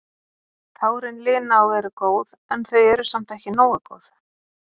Tárin lina og eru góð en þau eru samt ekki nógu góð.